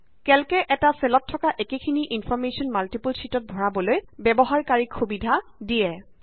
calc এ এটা চেলত থকা একেখিনি ইনফৰ্মেশ্যন মাল্টিপল শ্যিটত ভৰাবলৈ ব্যৱহাৰ কাৰীক সুবিধা দিয়ে